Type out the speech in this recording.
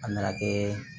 A nana kɛ